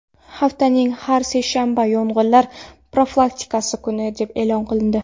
Haftaning har seshanbasi yong‘inlar profilaktikasi kuni deb e’lon qilindi.